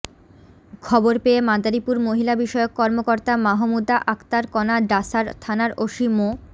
খবর পেয়ে মাদারীপুর মহিলাবিষয়ক কর্মকর্তা মাহমুদা আক্তার কণা ডাসার থানার ওসি মো